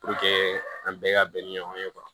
an bɛɛ ka bɛn ni ɲɔgɔn ye